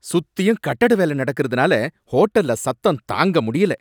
சுத்தியும் கட்டட வேலை நடக்கிறதுனால ஹோட்டல்ல சத்தம் தாங்க முடியல.